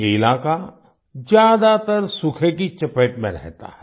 ये इलाका ज्यादातर सूखे की चपेट में रहता है